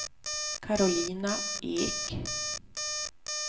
Karolina Ek